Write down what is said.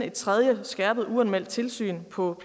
et tredje skærpet uanmeldt tilsyn på